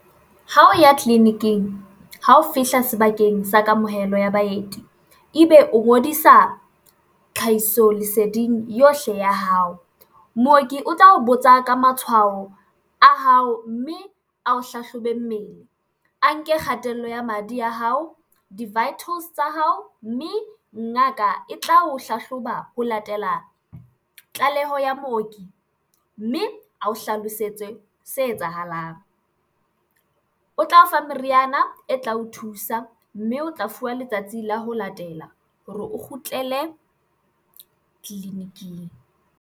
Ho ya tleliniking ha o fihla sebakeng sa kamohelo ya baeti, ebe o ngodisa tlhahiso leseding yohle ya hao. Mooki o tla o botsa ka matshwao a hao mme a o hlahlobe mmele a nke kgatello ya madi ya hao, di-vitals tsa hao, mme ngaka e tla o hlahloba ho latela tlaleho ya mooki mme ao hlalosetse se etsahalang, o tla o fa meriana e tla o thusa, mme o tla fuwa letsatsi la ho latela hore o kgutlele tleliniking.